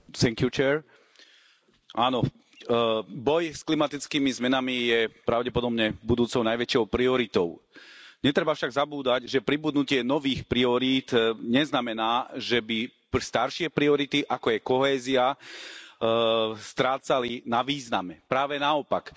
Vážená pani predsedajúca, áno, boj s klimatickými zmenami je pravdepodobne budúcou najväčšou prioritou. Netreba však zabúdať, že pribudnutie nových priorít neznamená, že by staršie priority, ako je kohézia, strácali na význame, práve naopak.